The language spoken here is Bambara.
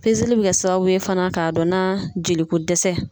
li be kɛ sababu ye fana k'a dɔn na jeli ko dɛsɛ